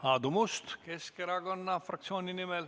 Aadu Must Keskerakonna fraktsiooni nimel.